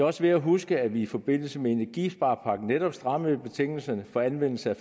også værd at huske at vi i forbindelse med energisparepakken netop strammede betingelserne for anvendelse af